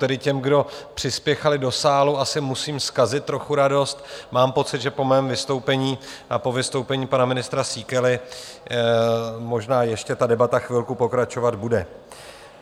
Tedy těm, kdo přispěchali do sálu, asi musím zkazit trochu radost, mám pocit, že po mém vystoupení a po vystoupení pana ministra Síkely možná ještě ta debata chvilku pokračovat bude.